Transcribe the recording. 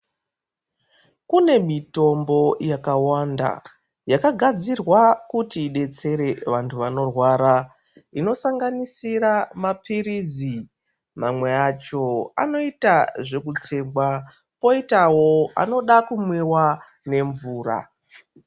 Kune mitombo yakawanda, yakagadzirwa kut idetsere vantu vanorwara, inosanganisira maphirizi. Mamwe acho,,anoita zvekutsengwa, kwozoitawo anoda kumwiwa nemvura.